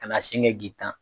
Ka na sen kɛ k'i tan.